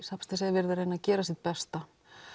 verið að reyna að gera sitt besta